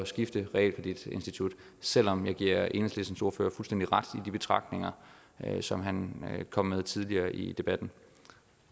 skifte realkreditinstitut selv om jeg giver enhedslistens ordfører fuldstændig ret i de betragtninger som han kom med tidligere i debatten